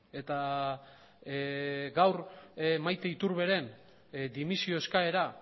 eta gaur maite iturberen dimisio eskaera